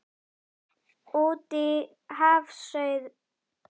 Útí hafsauga leggst kólgubakki á sjóndeildarhringinn og veit á illviðri.